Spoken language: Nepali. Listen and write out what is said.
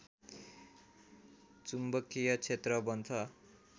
चुम्बकीय क्षेत्र बन्छ